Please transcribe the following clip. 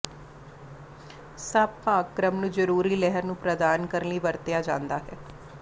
ਸਭ ਭਾਗ ਕ੍ਰਮ ਨੂੰ ਜ਼ਰੂਰੀ ਲਹਿਰ ਨੂੰ ਪ੍ਰਦਾਨ ਕਰਨ ਲਈ ਵਰਤਿਆ ਜਾਦਾ ਹੈ